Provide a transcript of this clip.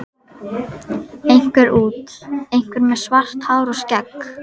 Einhver út, einhver með svart hár og skegg.